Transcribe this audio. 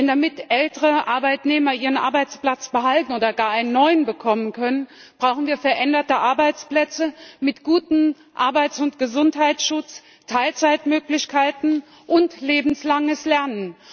Denn damit ältere Arbeitnehmer ihren Arbeitsplatz behalten oder gar einen neuen bekommen können, brauchen wir veränderte Arbeitsplätze mit gutem Arbeits und Gesundheitsschutz, Teilzeitmöglichkeiten und lebenslanges Lernen.